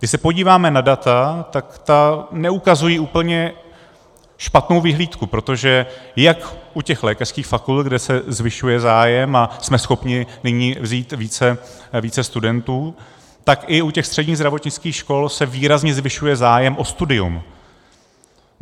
Když se podíváme na data, tak ta neukazují úplně špatnou vyhlídku, protože jak u těch lékařských fakult, kde se zvyšuje zájem a jsme schopni nyní vzít více studentů, tak i u těch středních zdravotnických škol se výrazně zvyšuje zájem o studium.